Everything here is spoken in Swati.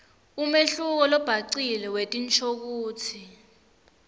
umehluko lobhacile wetinshokutsi